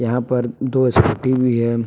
यहां पर दो स्कूटी भी है।